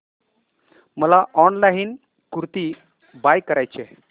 मला online kurti buy करायची आहे